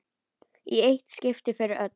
Í eitt skipti fyrir öll!